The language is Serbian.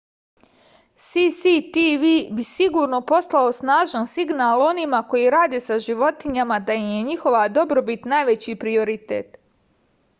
cctv bi sigurno poslao snažan signal onima koji rade sa životinjama da im je njihova dobrobit najveći prioritet